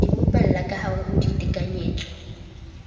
di bopella kahare ho ditekanyetso